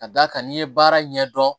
Ka d'a kan n'i ye baara ɲɛdɔn